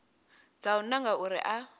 dza u nanga uri a